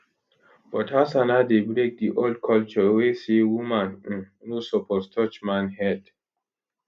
but hassana dey break di old culture wey say woman um no suppose touch man head